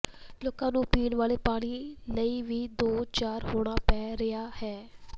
ਲੋਕਾਂ ਨੂੰ ਪੀਣ ਵਾਲੇ ਪਾਣੀ ਲਈ ਵੀ ਦੋ ਚਾਰ ਹੋਣਾ ਪੈ ਰਿਹਾ ਹੈ